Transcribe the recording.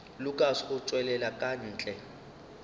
lukas go tšwela ka ntle